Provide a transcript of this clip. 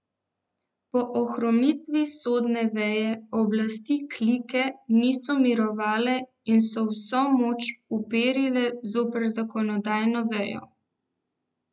Po ohromitvi sodne veje oblasti klike niso mirovale in so vso moč uperile zoper zakonodajno vejo.